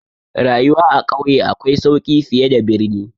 Rayuwa a ƙauye akwai sauki fiye da birni.